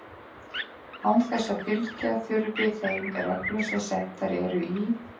án þess að fylgja þurfi þeim reglum sem settar eru í